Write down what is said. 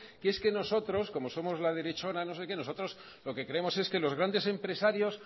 que es que nosotros como somos la derechona nosotros lo que creemos es que los grandes empresarios